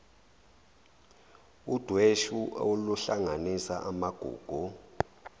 udweshu oluhlanganisa amagugu